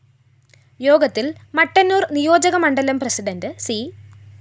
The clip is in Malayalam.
യോഗത്തില്‍ മട്ടന്നൂര്‍ നിയോജക മണ്ഡലം പ്രസിഡണ്ട് സി